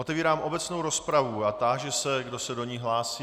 Otevírám obecnou rozpravu a táži se, kdo se do ní hlásí.